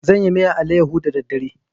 Zan yi miyar alayyaho da daddare.